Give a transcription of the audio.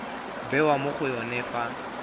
bewa mo go yone fa